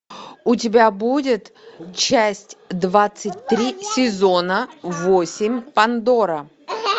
у тебя будет часть двадцать три сезона восемь пандора